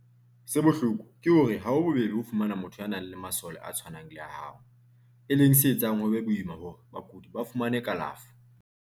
Se bohloko ke hore ha ho bobebe ho fumana motho ya nang le masole a tshwanang le a hao, e leng se etsang ho be boima hore bakudi ba fumane kalafo.